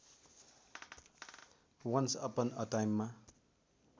once upon a टाइममा